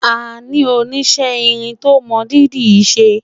àní oníṣe irin tó mọ dídì ṣé